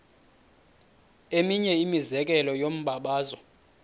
eminye imizekelo yombabazo